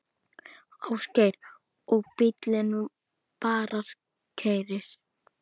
Ásgeir: Og bíllinn bara keyrir?